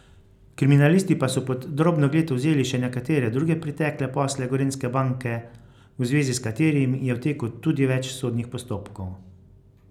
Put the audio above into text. Kriminalisti pa so pod drobnogled vzeli še nekatere druge pretekle posle Gorenjske banke, v zvezi s katerimi je v teku tudi več sodnih postopkov.